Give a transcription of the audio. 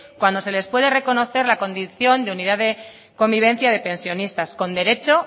cuando se les puede reconocer la condición de unidad de convivencia de pensionistas con derecho